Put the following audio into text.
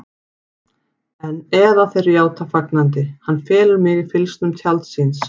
Eða þeir játa fagnandi: Hann felur mig í fylgsnum tjalds síns.